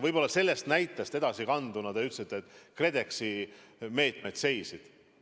Võib-olla sellest näitest edasi minnes: te ütlesite, et KredExi meetmed seisid.